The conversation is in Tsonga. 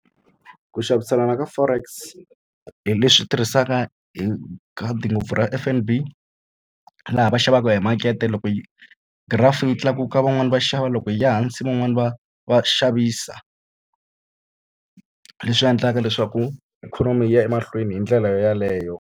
Ku xaviselana ka forex hi leswi tirhisaka hi khadi ngopfu ra F_N_B laha va xavaka hi makete. Loko graph yi tlakuka van'wani va xava loko yi ya hansi van'wani va va xavisa. Leswi endlaka leswaku ikhonomi yi ya emahlweni hi ndlela yeleyo.